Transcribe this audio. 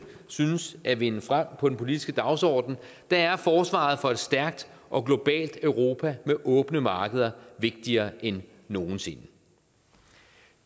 synes at vinde frem på den politiske dagsorden er forsvaret for et stærkt og globalt europa med åbne markeder vigtigere end nogen sinde det